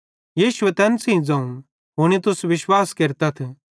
यीशुए तैन सेइं ज़ोवं हुनी तुस विश्वास केरतथ